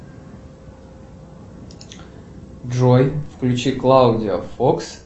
джой включи клаудия фокс